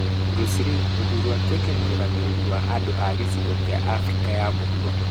Bruce Lee gũthuurwo atuĩke mũrũgamĩrĩri wa andũ a gĩcigo kĩa Afrika ya Mũhuro